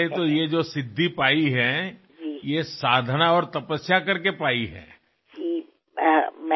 आणि ही जी सिद्धी आपण प्राप्त केली आहे ती साधना आणि तपश्चर्येच्या माध्यमातूनच प्राप्त केली आहे